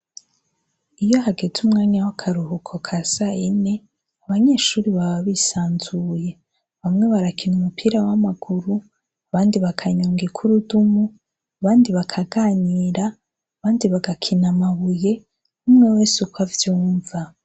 Iyo hageze umwanya w'akaruhuko ka sayine abanyeshure baba bisanzuye, bamwe barakina umupira w'amaguru, abandi bakanyonga ikurudumu, abandi bakaganira, abandi bagakina amabuye, umwe wese uko avyumva.